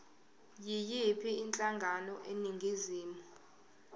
yiyiphi inhlangano eningizimu